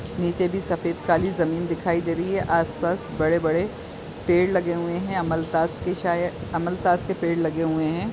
निचे भी सफ़ेद काली जमीन दिखाई दे रही है आस - पास बड़े -बड़े पेड़ लगे हुए है अमलतास के शायद अमलतास के पेड़ लगे हुए है।